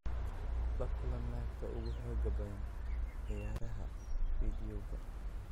La kulan naagta ugu xoogga badan ciyaaraha fiidiyowga